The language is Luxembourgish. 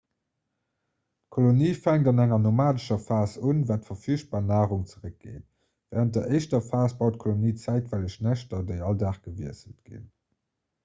d'kolonie fänkt an enger nomadescher phas un wann d'verfügbar narung zeréckgeet wärend der éischter phas baut d'kolonie zäitweileg näschter déi all dag gewiesselt ginn